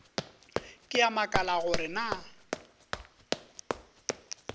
ke a makala gore na